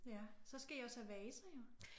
Ja. Så skal I jo også have vaser jo